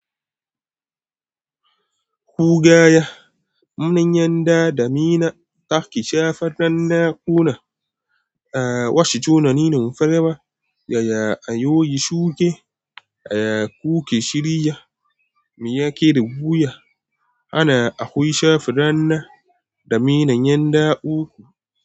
Ku gaya mun yanda dada, mina, taki, shafannan naƙuna, wasu tunanin farawa, yaya ayoyi shuke, yaya kuke shirya, miya ke da buya. Ana akwai shafannan da minanyan da uku.